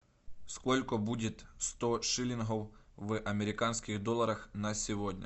сколько будет сто шиллингов в американских долларах на сегодня